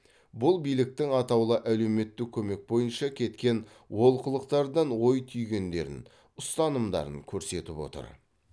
бұл биліктің атаулы әлеуметтік көмек бойынша кеткен олқылықтардан ой түйгендерін ұстанымдарын көрсетіп отыр